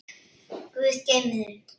Guð geymi þau.